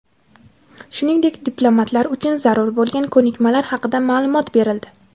shuningdek diplomatlar uchun zarur bo‘lgan ko‘nikmalar haqida maʼlumot berildi.